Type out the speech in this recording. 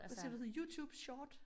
Hvad siger du YouTube Short?